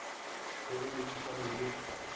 go be le thušano ye